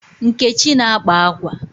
Nkechi na-akpa akwa.